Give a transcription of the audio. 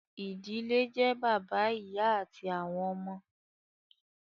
ìdílé jẹ́ bàbá, ìyá àti àwọn ọmọ